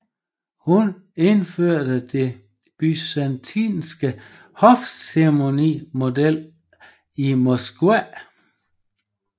Hun indførte det byzantinske hofceremoniel i Moskva